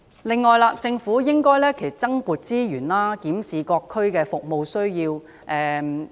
此外，政府應該增撥資源，檢視各區的服務需要。